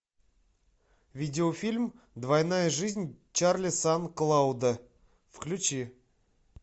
видеофильм двойная жизнь чарли сан клауда включи